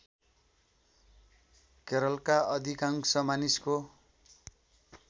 केरलका अधिकांश मानिसको